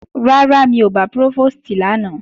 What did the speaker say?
Rárá, mi ò bá Prófòstì lánàá